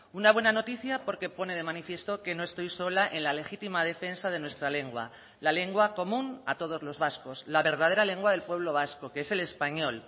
una buena noticia porque pone de manifiesto que no estoy sola en la legítima defensa de nuestra lengua la lengua común a todos los vascos la verdadera lengua del pueblo vasco que es el español